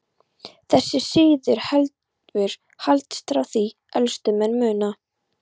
Þessi siður hefur haldist frá því elstu menn muna.